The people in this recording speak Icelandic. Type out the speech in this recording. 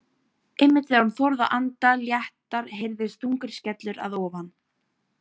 Einmitt þegar hún þorði að anda léttar heyrðist þungur skellur að ofan.